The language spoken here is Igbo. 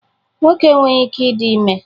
Nwoke enweghị ike ịdị ime